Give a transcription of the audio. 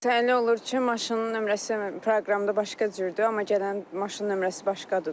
Təyinli olur ki, maşının nömrəsi proqramda başqa cürdür, amma gələn maşının nömrəsi başqadır da.